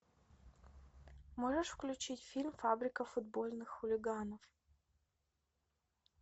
можешь включить фильм фабрика футбольных хулиганов